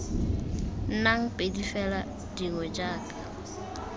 nnang pedi fela dingwe jaka